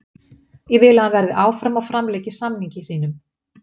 Ég vil að hann verði áfram og framlengi samningi sínum.